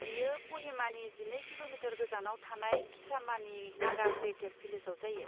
बेयो क'हिमानि जिनै किल'मिटार गोजानाव थानाय किसामानि नागा हेरिटेज भिलेजाव जायो।